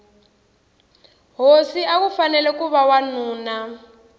hosi akufanele kuva wanuna